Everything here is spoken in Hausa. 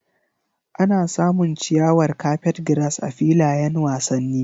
Ana samun ciyawar carpetgrass a filayen wasanni.